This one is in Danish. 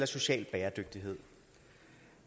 social bæredygtighed